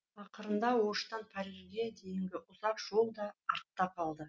ақырында оштан парижге дейінгі ұзақ жол да артта қалды